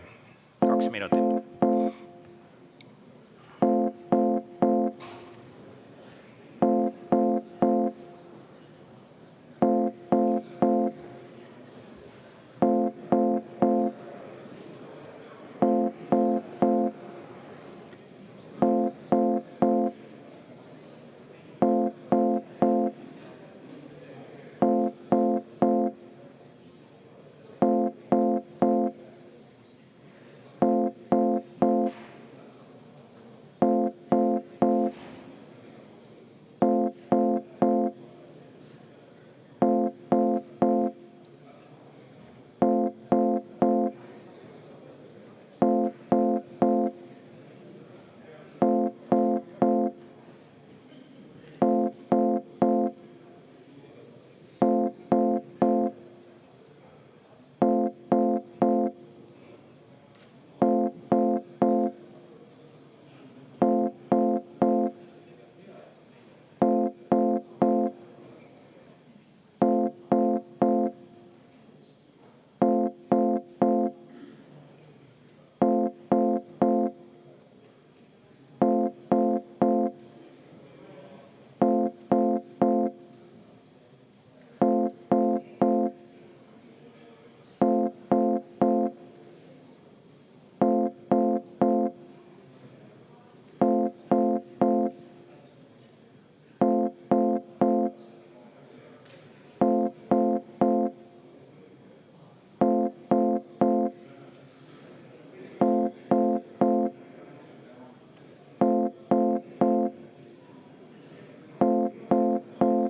Kaks minutit.